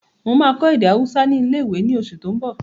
Mo máa kọ́ èdè ahúsá ní ilé-ìwé ní oṣù tó n bọ̀